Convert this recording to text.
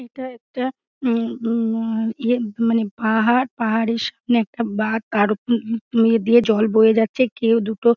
এটা একটা মম-ম-ম ইয়ে মানে পাহার। পাহাড়ের সামনে একটা বাঁধ তার উম-উম দিয়ে জল বয়ে যাচ্ছে কেউ দুটো--